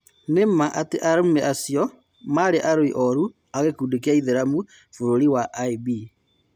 Nĩ-ũmaa atĩ arũme acio marĩĩ arũi-oru a-gikundi gĩa Ithĩramu Bũrũri (IB).